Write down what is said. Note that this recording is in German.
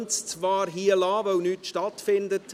Man könnte sie zwar hierlassen, weil nichts stattfindet.